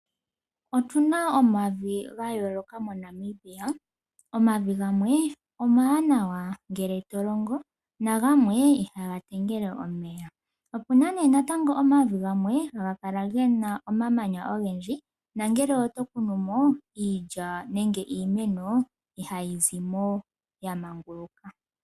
Otuna omavi gayooloka moNamibia, omavi gamwe omawanawa ngele tolongo nagamwe ihaga talama omeya, opena omavi gamwe haga kala gena omamanya ogendji nongele oto kunumo iilya nenge iimeno ihayi zimo yamanguluka.